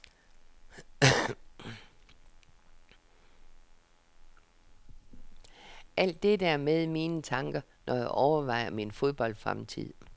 Alt dette er med i mine tanker, når jeg overvejer min fodboldfremtid.